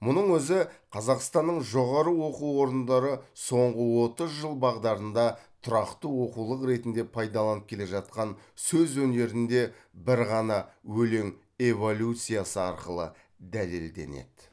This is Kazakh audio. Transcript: мұның өзі қазақстанның жоғары оқу орындары соңғы отыз жыл бағдарында тұрақты оқулық ретінде пайдаланып келе жатқан сөз өнерінде бір ғана өлең эволюциясы арқылы дәлелденеді